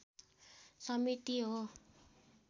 समिति हो।